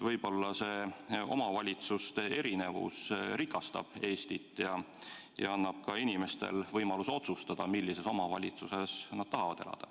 Võib-olla omavalitsuste erinevus rikastab Eestit ja annab ka inimestele võimaluse otsustada, millises omavalitsuses nad tahavad elada.